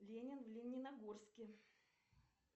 ленин в лениногорске